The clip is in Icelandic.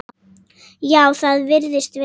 Já, það virðist vera.